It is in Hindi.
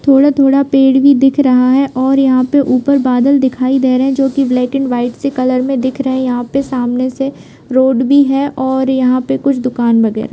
थोड़ा थोड़ा पेड़ भी दिखा रहा है और यहाँ पर ऊपर बादल दिखाई दे रहा है जो की ब्लैक एन वाइट से कलर मे दिख रहे है यहाँ पर सामने से रोड भी है और यहाँ पे कुछ दुकान लगे है।